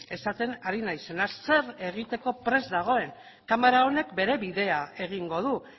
esaten ari naizena zer egiteko prest dagoen kamara honek bere bidea egingo du